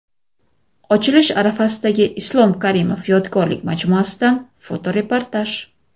Ochilish arafasidagi Islom Karimov yodgorlik majmuasidan fotoreportaj.